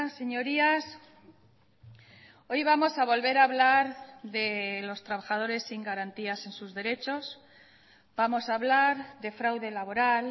señorías hoy vamos a volver a hablar de los trabajadores sin garantías en sus derechos vamos a hablar de fraude laboral